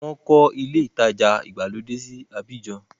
Wọ́n kọ́ ilé-ìtajà ìgbàlódé sí Abidjan.